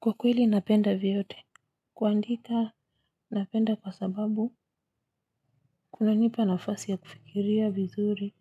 Kwa kweli napenda vyote. Kuandika, napenda kwa sababu, kuna nipa nafasi ya kufikiria vizuri.